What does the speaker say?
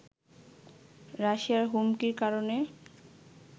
রাশিয়ার হুমকির কারণে